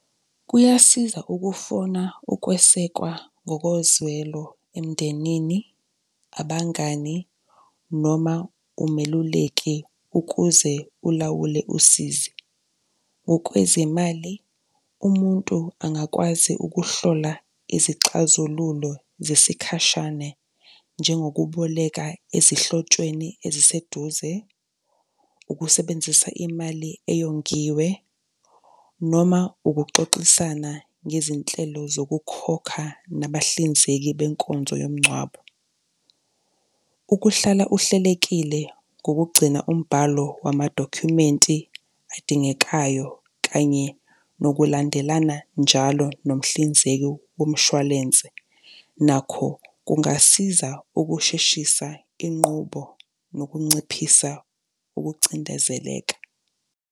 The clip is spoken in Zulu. Kuyasiza ukufuna ukwesekwa ngokozwelo emndenini, abangani noma umeluleki ukuze ulawule usizi. Ngokwezimali, umuntu angakwazi ukuhlola izixazululo zesikhashane njengokuboleka ezihlotshweni eziseduze, ukusebenzisa imali eyongiwe noma ukuxoxisana ngezinhlelo zokukhokha nabahlinzeki benkonzo yomgcwabo. Ukuhlala uhlelekile ngokugcina umbhalo wamadokhumenti adingekayo kanye nokulandelana njalo nomhlinzeki womshwalense nakho kungasiza ukusheshisa inqubo nokunciphisa ukucindezeleka.